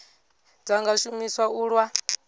dza nga shumiswa u lwa